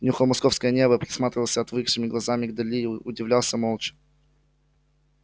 нюхал московское небо присматривался отвыкшими глазами к дали удивлялся молча